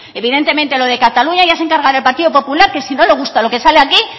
evidentemente lo de cataluña ya se encargará el partido popular que si no le gusta lo que sale aquí